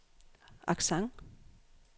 accent